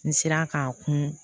N sera k'a kun